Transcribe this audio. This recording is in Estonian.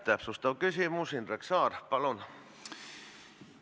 Täpsustav küsimus, Indrek Saar, palun!